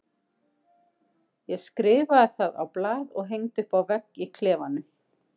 Ég skrifaði það á blað og hengdi upp á vegg í klefanum.